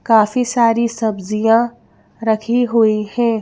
काफी सारी सब्जियां रखी हुई हैं।